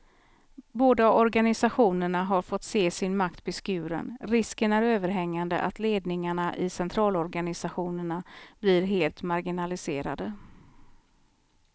Båda organisationerna har fått se sin makt beskuren, risken är överhängande att ledningarna i centralorganisationerna blir helt marginaliserade.